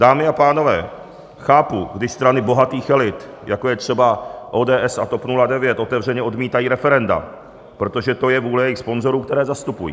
Dámy a pánové, chápu, když strany bohatých elit, jako je třeba ODS a TOP 09, otevřeně odmítají referenda, protože to je vůle jejich sponzorů, které zastupují.